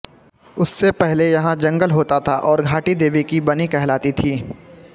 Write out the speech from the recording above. उससे पहले यहाँ जंगल होता था और घाटी देवी की बनी कहलाती थी